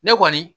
Ne kɔni